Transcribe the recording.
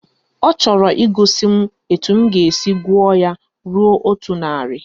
Ọ chọrọ igosi m etu m ga-esi gụọ ya ruo otu narị